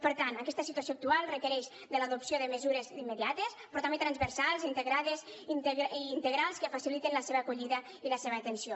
per tant aquesta situació actual requereix l’adopció de mesures immediates però també transversals i integrals que facilitin la seva acollida i la seva atenció